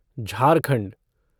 Jharkhand